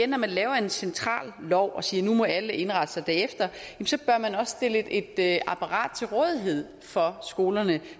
når man laver en central lov og siger at nu må alle indrette sig derefter bør man også stille et apparat til rådighed for skolerne